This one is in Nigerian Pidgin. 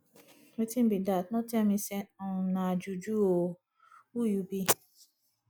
wetin be dat no tell me say um na juju oo who you be